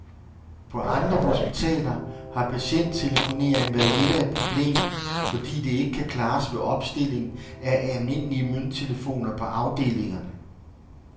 På andre hospitaler har patienttelefonering været lidt af et problem, fordi det ikke kan klares ved opstilling af almindelige mønttelefoner på afdelingerne.